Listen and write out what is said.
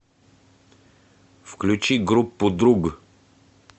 включи группу друг